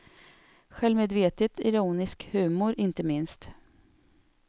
Självmedvetet ironisk humor, inte minst.